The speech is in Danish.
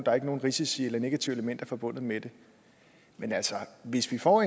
er nogen risici eller negative elementer forbundet med det men altså hvis vi får